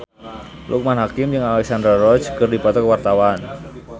Loekman Hakim jeung Alexandra Roach keur dipoto ku wartawan